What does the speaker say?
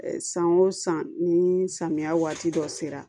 San o san ni samiya waati dɔ sera